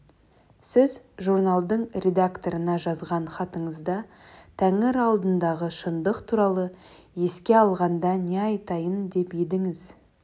сіз журналдың редакторына жазған хатыңызда тәңір алдындағы шындық туралы еске алғанда не айтайын деп едіңіз